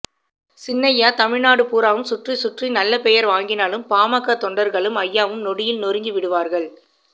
சின்னய்யா தமிழ்நாடு பூராவும் சுற்றிச் சுற்றி நல்ல பெயர் வாங்கினாலும் பாமக தொண்டர்களும் அய்யாவும் நொடியில் நொறுக்கி விடுவார்கள்